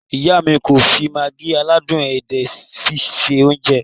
Iya mi ko fi Maggi aládùn edé fi se ounje.